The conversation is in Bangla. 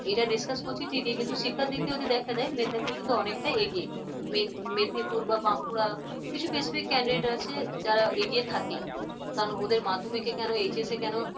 এটা discuss করছি ঠিকই কিন্তু শিক্ষার দিক থেকে দেখা যায় মেদনীপুর কিন্তু অনেকটাই এগিয়ে মেদ মেদনীপুর বা বাঁকুড়া কিছু pacific candidate আছে যারা এগিয়ে থাকে কারণ ওদের মাধ্যমিকে কেন HS কেন